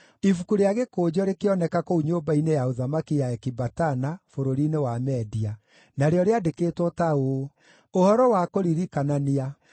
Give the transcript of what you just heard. Ibuku rĩa gĩkũnjo rĩkĩoneka kũu nyũmba-inĩ ya ũthamaki ya Ekibatana, bũrũri-inĩ wa Media. Narĩo rĩandĩkĩtwo ta ũũ: Ũhoro wa Kũririkanania: